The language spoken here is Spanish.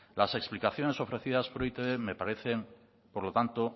las explicaciones ofrecidas por e i te be me parecen por lo tanto